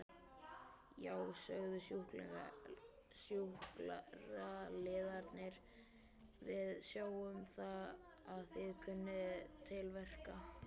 Já, sögðu sjúkraliðarnir, við sjáum að þið kunnið til verka.